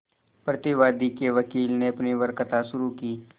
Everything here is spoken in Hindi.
प्रतिवादी के वकील ने अपनी वक्तृता शुरु की